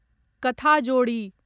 कथाजोडी